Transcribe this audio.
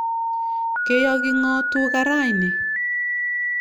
Ke yoki ng'o tuka raini?